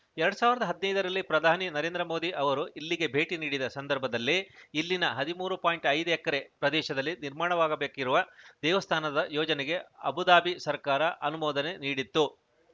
ಎರಡ್ ಸಾವಿರದ ಹದಿನೈದರಲ್ಲಿ ಪ್ರಧಾನಿ ನರೇಂದ್ರ ಮೋದಿ ಅವರು ಇಲ್ಲಿಗೆ ಭೇಟಿ ನೀಡಿದ ಸಂದರ್ಭದಲ್ಲೇ ಇಲ್ಲಿನ ಹದಿಮೂರು ಪಾಯಿಂಟ್ ಐದು ಎಕರೆ ಪ್ರದೇಶದಲ್ಲಿ ನಿರ್ಮಾಣವಾಗಬೇಕಿರುವ ದೇವಸ್ಥಾನದ ಯೋಜನೆಗೆ ಅಬುದಾಬಿ ಸರ್ಕಾರ ಅನುಮೋದನೆ ನೀಡಿತ್ತು